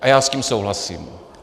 A já s tím souhlasím.